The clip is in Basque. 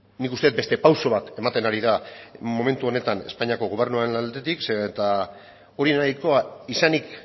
nik uste dut beste pausu bat ematen ari dela momentu honetan espainiako gobernuaren aldetik zeren eta hori